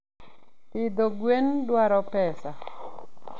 Pidho gwen dwaro pesa.